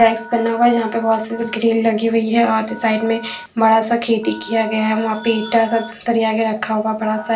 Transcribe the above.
rice बना हुआ है जहा पर बहोत सारी ग्रिल लगी हुई है और साइड में बड़ा सा खेती किया गया है वहाँ पर ईटा सरिया कर रखा गया है--